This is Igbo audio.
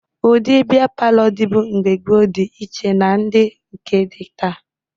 Ụdị bịa palọ dịbu mgbe gboo dị iche na ndị nke dị taa